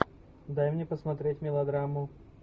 дай мне посмотреть мелодраму